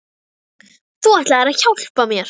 ! Þú ætlaðir að hjálpa mér.